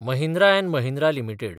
Mahindra & Mahindra limited